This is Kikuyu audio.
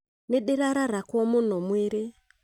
Nĩndĩrararakwo mũno mwĩrĩ